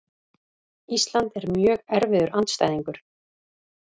Ísland er mjög erfiður andstæðingur.